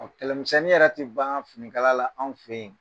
Kɛlɛmisɛnni yɛrɛ te baan fini kala la anw fe ye.